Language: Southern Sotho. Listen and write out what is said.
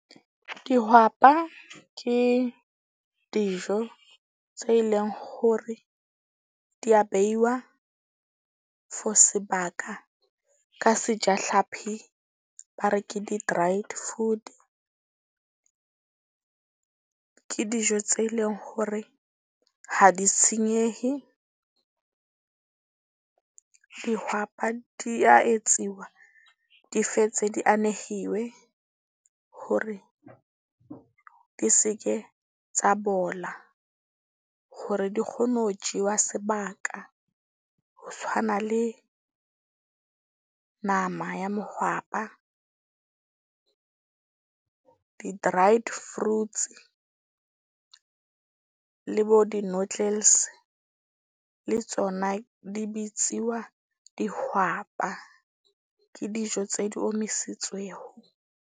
Dihwapa ke dijo tse leng hore di ya beiwa for sebaka ka seja hlapi ba re ke di-dried food. Ke dijo tse leng hore ha di senyehe. Dihwapa di ya etsiwa, di fetse di anehiwe, hore di seke tsa bola hore di kgone ho jewa sebaka. Ho tshwana le nama ya mohwapa, di-dried fruits le bo di-noodles le tsona di bitsiwa dihwapa. Ke dijo tse di omisitsweho.